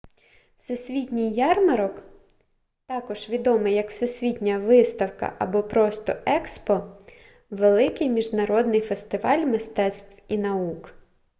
всесвітній ярмарок також відомий як всесвітня виставка або просто експо — великий міжнародний фестиваль мистецтв і наук